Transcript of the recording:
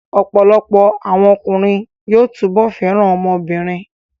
Ọ̀pọ̀lọpọ̀ àwọn ọkùnrin yóò túbọ̀ fẹ́ràn ọmọ obìnrin